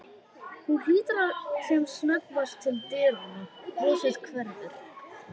Hún lítur sem snöggvast til dyranna, brosið hverfur.